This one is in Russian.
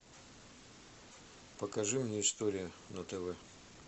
покажи мне история на тв